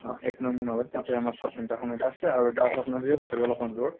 অহ এক নং মুনাবাৰী তাতে আমাৰ sub center খন এটা আছে আৰু এটা আছে আপোনাৰ অলপ্মান দূৰত